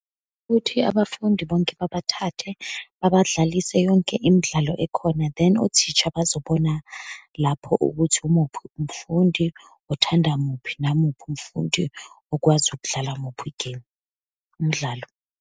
Ukuthi abafundi bonke babathathe babadlalise yonke imidlalo ekhona. Then, othisha bazobona lapho ukuthi umuphi umfundi othanda muphi, namuphi umfundi okwazi ukudlala muphi igemu, umdlalo.